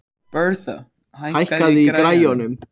Bertha, hækkaðu í græjunum.